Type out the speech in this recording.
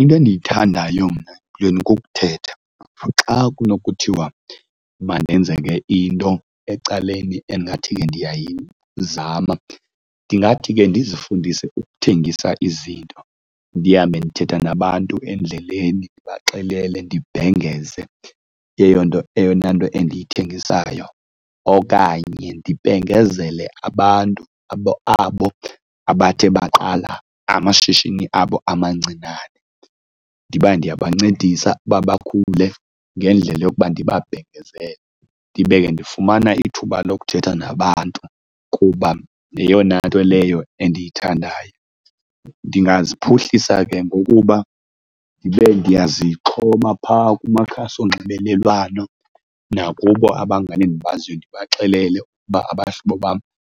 Into endiyithandayo mna yona kukuthetha. Xa kunokuthiwa mandenze yonke into ecaleni endingathi ke ndiyayizama ndingathi ke ndizifundise ukuthengisa izinto, ndihambe ndithetha nabantu endleleni ndibaxelele ndibhengeze eyo nto, eyona nto endiyithengisayo. Okanye ndibhengezele abantu abo abathe baqala amashishini abo amancinane, ndiba ndiyancedisa uba bakhule ngendlela lokuba ndibabhengezele. Ndibe ke ndifumana ithuba lokuthetha nabantu kuba yeyona nto leyo endiyithandayo. Ndingaziphuhlisa ke ngokuba ndibe ndiyazixhoma phaa kumakhasi onxibelelwano nakubo abangani endibaziyo ndibaxelele ukuba abahlobo bam